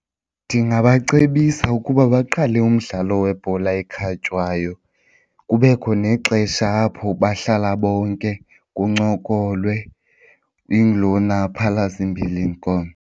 Ndingabacebisa ukuba baqale umdlalo webhola ekhatywayo kubekho nexesha apho bahlala bonke kuncokolwe ingulona aphalaze imbilini komnye.